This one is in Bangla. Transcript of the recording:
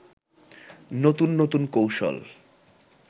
নতুন নতুন কৌশল